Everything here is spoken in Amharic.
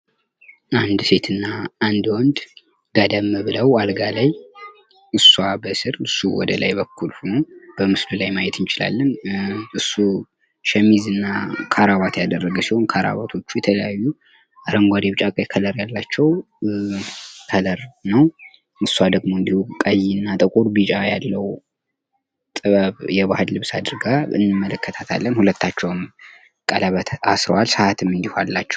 አንድ ሴት እና አንድ ወንድ ጋደም ብለው አልጋ ላይ እስዋ በስር እሱ ወደላይ በኩል ሁነው በምስሉ ላይ ማየት እንችላለን። እሱ ሸሚዝ እና ከረባት ያረገ ሲሆን ከረባቶቹ ሲታዩ አረንጓዴ፣ ቢጫ፣ ቀይ ከለር ያላቸው ከለር ነው። እሷ ደሞ ቀይ እና ጥቁር ቢጫ ያለው ጥበብ የባህል ልብስ አድርጋ እንመለከታታለን። ሁለታቸውም ቀለበት አስረዋል፤ ሰአትም እንዲሁም አላቸው